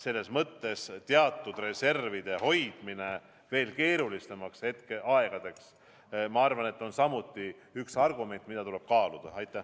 Sellepärast on teatud reservide hoidmine veel keerulisemateks aegadeks samuti üks argument, mida tuleb arvestada.